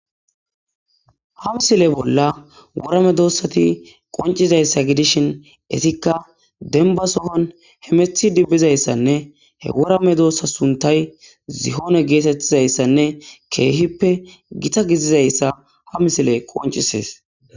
ha misile bolla worame doossati qoncizayssa gidishin etikka denba sohon hemethi dibbizayssanne he worame doossa suntay zihoone geetettizayssanne keehippe gita gizizayssa ha misile qoncisees